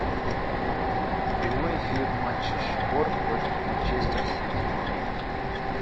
прямой эфир матча шпор против манчестер сити